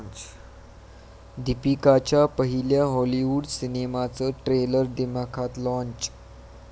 दीपिकाच्या पहिल्या हॉलिवूड सिनेमाचं ट्रेलर दिमाखात लाँच